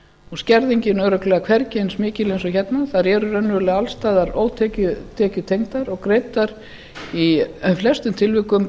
og skerðingin örugglega hvergi eins mikil og hérna þær eru raunverulega alls staðar ótekjutengdar og greiddar í flestum tilvikum